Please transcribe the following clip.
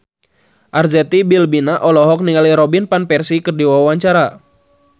Arzetti Bilbina olohok ningali Robin Van Persie keur diwawancara